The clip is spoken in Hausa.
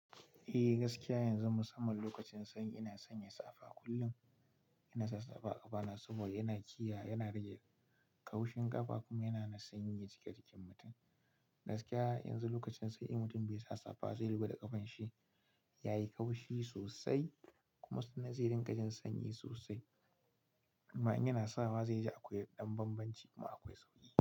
Eh gaskiya yanzu musamman lokacin sanyi ina sanya safa kullum, ina sa safa a ƙafana saboda yana kiyaye, yana rage ƙawushin ƙafa kuma hana sanyi ya shig-jikin mutum. Gaskiya yanzu lokacin sanyi in mutum bai sa safa zai rufuda ƙafan shi, yayi ƙaushi sosai kuma sannan zai rinƙa jin sanyi sosai. Ma in yana sawa zai ji akwai ɗan bambanci kuma akwai sauƙi.